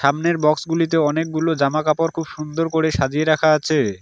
সামনের বক্সগুলিতে অনেকগুলো জামা কাপড় খুব সুন্দর করে সাজিয়ে রাখা আছে।